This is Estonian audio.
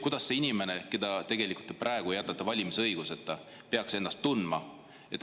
Kuidas see inimene, kelle te praegu jätate valimisõiguseta, peaks ennast tundma?